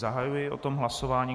Zahajuji o tom hlasování.